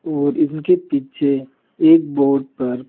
और इनके पीछे एक बोर्ड पर--